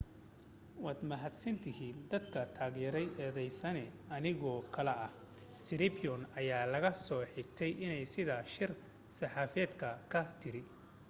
"waad mahadsantihiin dadka taageray eedeysane anigoo kale ah siriporn ayaa laga soo xigtay iney sidaa shir saxaafadeedki ka tiri.